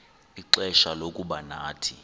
ixfsha lokuba nathi